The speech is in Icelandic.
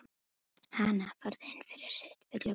Hana, farðu inn fyrir, sittu við gluggann.